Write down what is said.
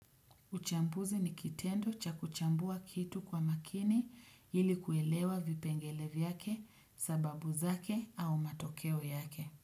Uchambuzi ni kitendo cha kuchambua kitu kwa makini ili kuelewa vipengele vyake sababu zake au matokeo yake.